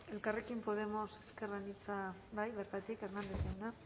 elkarrekin podemos ezker anitza bai bertatik hernández jauna